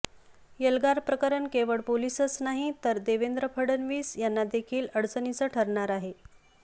एल्गार प्रकरण केवळ पोलीसच नाही तर देवेंद्र फडणवीस यांना देखील अडचणीचं ठरणार आहे